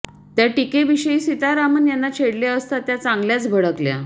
त्या टिकेविषयी सीतारामन यांना छेडले असता त्या चांगल्याच भडकल्या